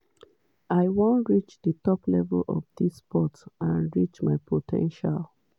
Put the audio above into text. i be warrior to di bitter end. um